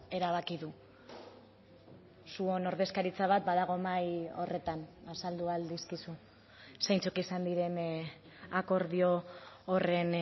erabaki du zuon ordezkaritza bat badago mahai horretan azaldu ahal dizkizu zeintzuk izan diren akordio horren